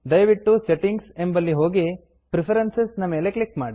ದಯವಿಟ್ಟು Settingಸೆಟ್ಟಿಂಗ್ ಎಂಬಲ್ಲಿ ಹೋಗಿ Preferenceಪ್ರಿಫರೆನ್ಸ್ ನ ಮೇಲೆ ಒತ್ತಿ